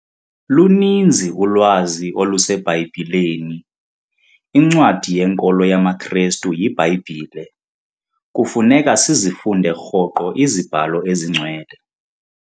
Luninzi ulwazi oluseBhayibhileni. incwadi yenkolo yamaKrestu yiBhayibhile, kufuneka sizifunde rhoqo iziBhalo esingcwele